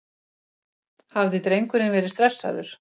Hafði drengurinn verið stressaður?